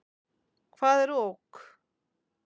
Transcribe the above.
Hvað er ok?